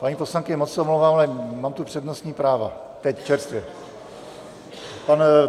Paní poslankyně, moc se omlouvám, ale mám tu přednostní práva teď čerstvě...